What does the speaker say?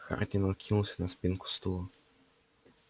хардин откинулся на спинку стула